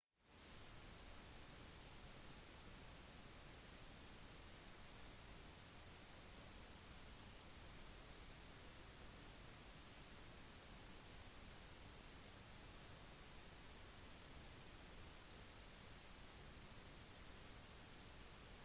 ifølge søksmålet var avfall fra fn-leiren ikke ordentlig sanitært og forårsaket at bakterier kom inn i sideelven til elven artibonite en av haitis største